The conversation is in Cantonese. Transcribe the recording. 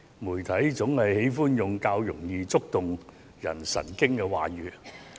媒體總喜歡用上容易觸動別人神經的話語。